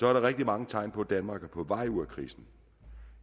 er der rigtig mange tegn på at danmark er på vej ud af krisen